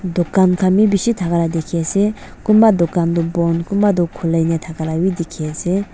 dukan khan bi bishi thaka lah dikhi ase kunba dukan tu pon kunba tu khulai na thaka lah bhi dikhi ase.